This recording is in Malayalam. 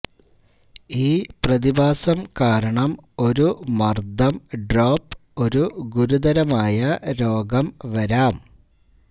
ഈ പ്രതിഭാസം കാരണം ഒരു മർദ്ദം ഡ്രോപ്പ് ഒരു ഗുരുതരമായ രോഗം വരാം